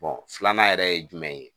filanan yɛrɛ ye jumɛn ye